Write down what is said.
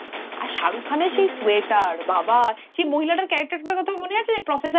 আর শারুখ খান এর সেই sweater বাবা সেই মহিলার কথা টা মনে আছে professor এর